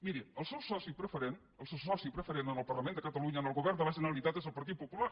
miri el seu soci preferent el seu soci preferent en el parlament de catalunya en el govern de la generalitat és el partit popular